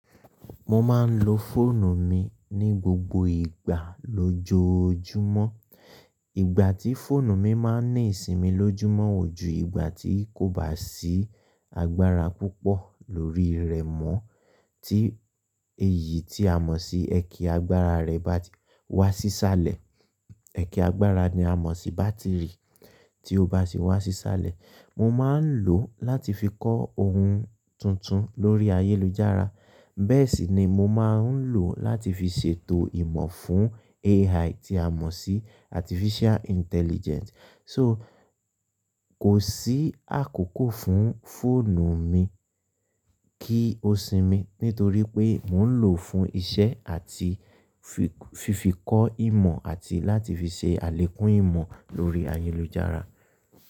Mo máa ń lo fóònù mi ní gbogbo ìgbà lójoojúmọ́. Ìgbà tí fóònù mi máa ń ní ìsinmi lójúmọ́ ò ju ìgbà tí kò bá sí agbára púpọ̀ lórí rẹ̀ mọ́. Tí èyí tí a mọ̀ sí ẹkẹ́ agbára rẹ̀ bá ti wá sí sálẹ̀, ẹkẹ́ agbára ni a mọ̀ sí bátìrì. Tí ó bá sì wá sí sálẹ̀, mo máa ń lò ó láti fi kọ́ ohun tuntun lórí ayélujára. Bẹ́ẹ̀ sì ni mo máa ń lò láti fi ṣètò ìmọ̀ fún AI tí a mọ̀ sí Artificial Intelligence. So kò sí àkókò fún fóònù mi kí ó sinmi nítorí pé mò ń lò ó fún iṣẹ́ àti fi fífi kọ ìmọ̀ àti láti fi ṣe àlékún ìmọ̀ lórí ayélujára.